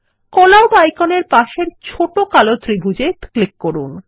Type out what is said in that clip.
call out icon এর পাশের ছোট কালো ত্রিভুজ এ ক্লিক করুন